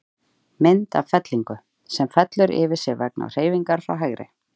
Mynd af fellingu, sem fellur yfir sig vegna hreyfingar frá hægri.